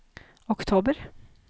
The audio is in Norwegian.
oktober